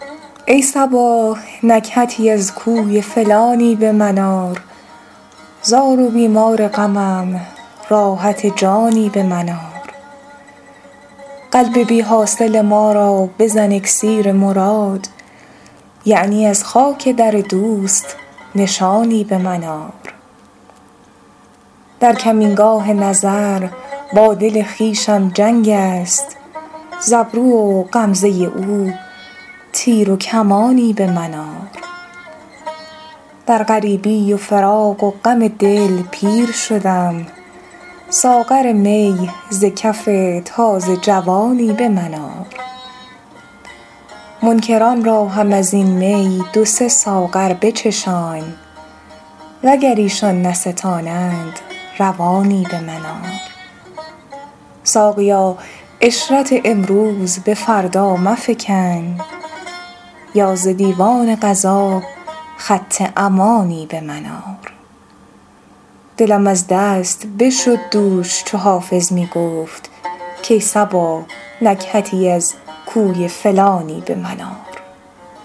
ای صبا نکهتی از کوی فلانی به من آر زار و بیمار غمم راحت جانی به من آر قلب بی حاصل ما را بزن اکسیر مراد یعنی از خاک در دوست نشانی به من آر در کمینگاه نظر با دل خویشم جنگ است ز ابرو و غمزه او تیر و کمانی به من آر در غریبی و فراق و غم دل پیر شدم ساغر می ز کف تازه جوانی به من آر منکران را هم از این می دو سه ساغر بچشان وگر ایشان نستانند روانی به من آر ساقیا عشرت امروز به فردا مفکن یا ز دیوان قضا خط امانی به من آر دلم از دست بشد دوش چو حافظ می گفت کای صبا نکهتی از کوی فلانی به من آر